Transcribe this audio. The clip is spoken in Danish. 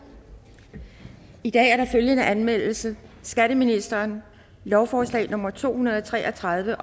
i dag er der følgende anmeldelse skatteministeren lovforslag nummer k to hundrede og tre og tredive